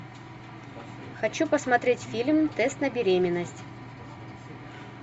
хочу посмотреть фильм тест на беременность